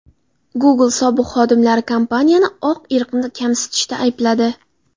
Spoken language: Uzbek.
Google sobiq xodimlari kompaniyani oq irqni kamsitishda aybladi.